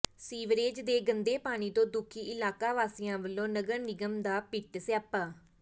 sewerage ਦੇ ਗੰਦੇ ਪਾਣੀ ਤੋਂ ਦੁਖੀ ਇਲਾਕਾ ਵਾਸੀਆਂ ਵਲੋਂ ਨਗਰ ਨਿਗਮ ਦਾ ਪਿੱਟ ਸਿਆਪਾ